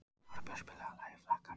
Árbjört, spilaðu lagið „Flakkarinn“.